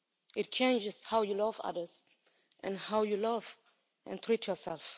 It changes how you love others, and how you love and treat yourself.